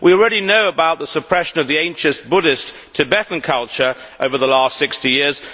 We already know about the suppression of the ancient Buddhist Tibetan culture over the last 60 years